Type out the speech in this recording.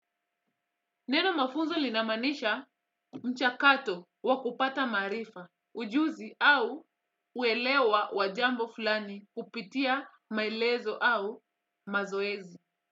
Neno mafunzo linamaanisha mchakato wa kupata maarifa ujuzi au uelewa wa jambo fulani kupitia maelezo au mazoezi.